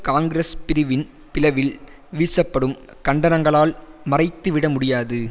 காங்கிரஸ் பிரிவின் பிளவில் வீசப்படும் கண்டனங்களால் மறைத்து விட முடியாது